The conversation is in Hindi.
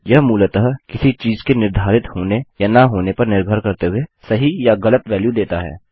यह मूलतः किसी चीज़ के निर्धारित होने या न होने पर निर्भर करते हुए सही या ग़लत वेल्यु देता है